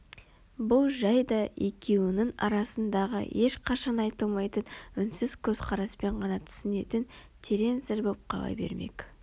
бұл жай да екеуінің арасындағы ешқашан айтылмайтын үнсіз көзқараспен ғана түсінетін терең сыр боп қала бермек